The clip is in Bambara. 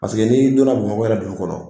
n'i donna Bamakɔ wɛrɛ dugu kɔnɔ